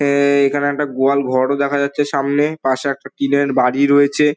এ-এ-এ-এ এখানে একটা গোয়াল ঘরও দেখা যাচ্ছে সামনে পাশে একটা টিন -এর বাড়ি রয়েছে ।